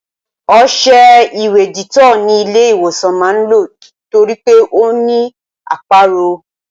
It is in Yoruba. Ọṣẹ ìwẹ̀ Dettol ni ilé ìwòsàn máa ń lò torí pé ó ní aporó